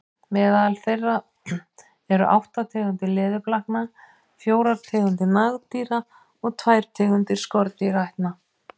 Meðal þeirra eru átta tegundir leðurblakna, fjórar tegundir nagdýra og tvær tegundir skordýraætna.